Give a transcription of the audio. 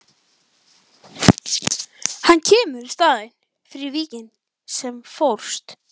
Hann kemur í staðinn fyrir Víking sem fórst.